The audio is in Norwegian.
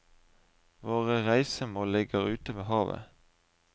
Våre reisemål ligger ute ved havet.